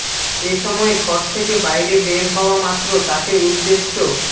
এ সময় ঘর থেকে বাইরে বের হওয়া মাত্র তাকে উদ্দেশ্য